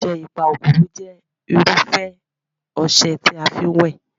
ọsẹ Ipakokoro jẹ́ irufẹ ọsẹ tí a fi ń wẹ̀